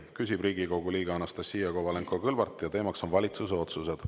Küsib Riigikogu liige Anastassia Kovalenko-Kõlvart ja teema on valitsuse otsused.